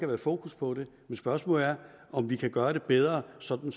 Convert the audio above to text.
været fokus på det men spørgsmålet er om vi kan gøre det bedre sådan